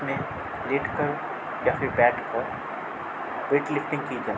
में लेटकर या फिर बैठकर वेट लिफ्टिंग की जा --